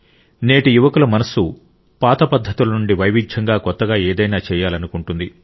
నేటి యువకుల మనస్సు పాత పద్ధతుల నుండి వైవిధ్యంగా కొత్తగా ఏదైనా చేయాలనుకుంటుంది